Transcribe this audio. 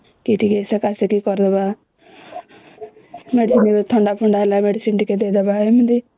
କି ଟିକେ ସେକ ସେକି କରିଦେବା ଥଣ୍ଡାଫଣ୍ଡା ହେଲେ ଟିକେ ମେଡିସିନେ ଟିକେ ଦେଇଦେବା ଏମିତି